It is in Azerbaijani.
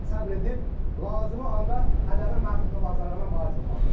Səbr edib lazımi anda hədəfi məhv etmə bacarığına malik olmalıdırlar.